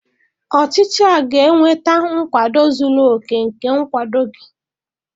Ọchịchị a ga-enweta nkwado zuru oke nke nkwado gị